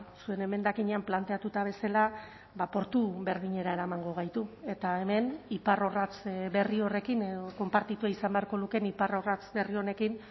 zuen emendakinean planteatuta bezala portu berdinera eramango gaitu eta hemen iparrorratz berri horrekin edo konpartitua izan beharko lukeen iparrorratz berri honekin